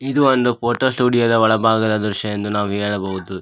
ಇದು ಒಂದು photo studio ದ ಒಳಬಾಗದ ದೃಶ್ಯ ಎಂದು ನಾವು ಹೇಳಬಹುದು.